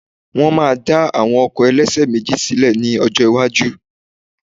Wọ́n máa dá àwọn ọkọ̀ ẹlẹ́ṣẹ̀méjì sílè ní ọjọ́ iwájú